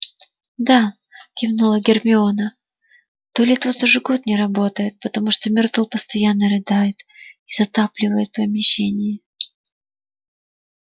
да кивнула гермиона туалет вот уже год не работает потому что миртл постоянно рыдает и затапливает помещение